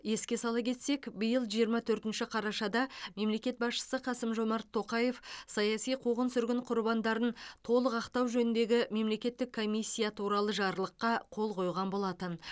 еске сала кетсек биыл жиырма төртінші қарашада мемлекет басшысы қасым жомарт тоқаев саяси қуғын сүргін құрбандарын толық ақтау жөніндегі мемлекеттік комиссия туралы жарлыққа қол қойған болатын